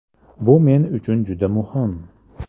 Bu men uchun juda muhim!